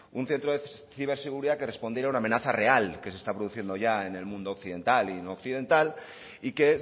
un centro de ciberseguridad que respondiera a una amenaza real que se está produciendo ya en el mundo occidental y no occidental y que